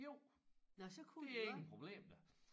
Jo det ingen problem da